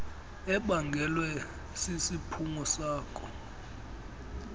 ebangelwe sisiphumo sako